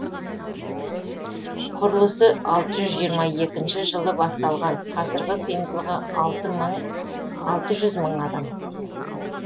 құрылысы алты жүз жиырма екінші жылы басталған қазіргі сыйымдылығы алты жүз мың адам